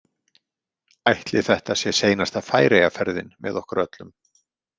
Ætli þetta sé seinasta Færeyjaferðin með okkur öllum?